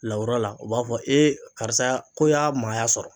Lawura la u b'a fɔ ee karisa ko y'a maaya sɔrɔ